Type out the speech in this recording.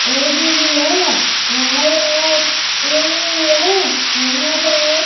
AC भी है यहां पे एक टी_वी भी है यहां पे एक--